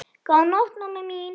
Góða nótt, mamma mín.